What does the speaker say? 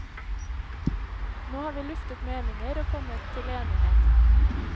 Nå har vi luftet meninger og kommet til enighet.